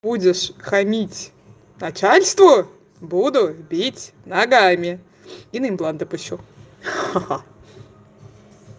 будешь хамить начальству буду бить ногами и на импланты пущу ха-ха